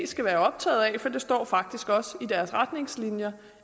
skal være optaget af for det står faktisk også i deres retningslinjer